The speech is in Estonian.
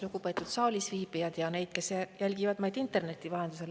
Lugupeetud saalis viibijad ja need, kes jälgivad meid interneti vahendusel!